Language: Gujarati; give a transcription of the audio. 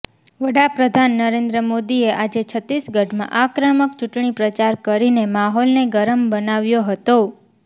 વડાપ્રધાન નરેન્દ્ર મોદીએ આજે છત્તીસગઢમાં આક્રમક ચૂંટણી પ્રચાર કરીને માહોલને ગરમ બનાવ્યો હતો